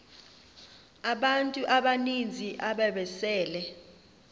abantu abaninzi ababesele